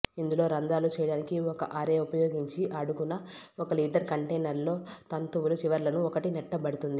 ఇందులో రంధ్రాలు చేయడానికి ఒక అరే ఉపయోగించి అడుగున ఒక లీటరు కంటైనర్లు లో తంతువులు చివరలను ఒకటి నేట్టబడుతుంది